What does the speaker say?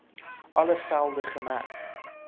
alle velde gemerk